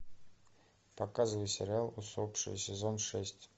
показывай сериал усопшие сезон шесть